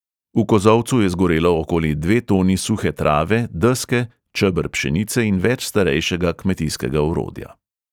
V kozolcu je zgorelo okoli dve toni suhe trave, deske, čeber pšenice in več starejšega kmetijskega orodja.